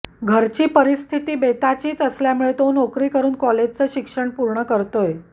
घरची परिस्थिती बेताचीच असल्यामुळे तो नोकरी करून कॉलेजचं शिक्षण पूर्ण करतोय